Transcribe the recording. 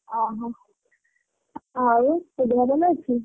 ଓହୋ ଆଉ ତୋ ଦେହ ଭଲ ଅଛି?